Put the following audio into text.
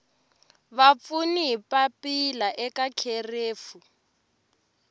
vapfuni hi papila eka kherefu